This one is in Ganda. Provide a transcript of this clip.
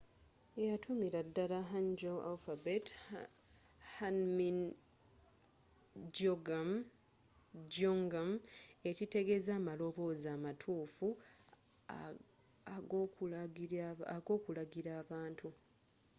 yeyatuumira dala hangeul alphabet hunmin jeongeum ekitegeeza amaloboozi amatuufu ag’okulagira abantu